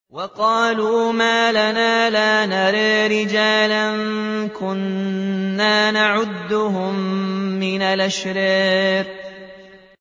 وَقَالُوا مَا لَنَا لَا نَرَىٰ رِجَالًا كُنَّا نَعُدُّهُم مِّنَ الْأَشْرَارِ